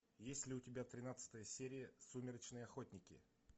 есть ли у тебя тринадцатая серия сумеречные охотники